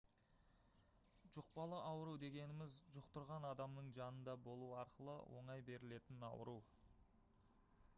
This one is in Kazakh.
жұқпалы ауру дегеніміз жұқтырған адамның жанында болу арқылы оңай берілетін ауру